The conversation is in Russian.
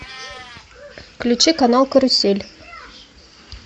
включи канал карусель